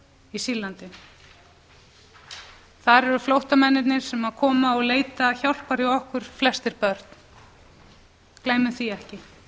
í sýrlandi þar eru flóttamennirnir sem koma og leita hjálpar hjá okkur flestir börn gleymum því ekki